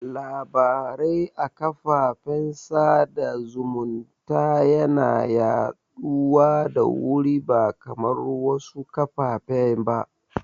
Labarai a karfafan sada zumunta yana yaɗuwa da wuri ba kamar wasu kafafen ba